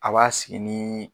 A b'a sigi ni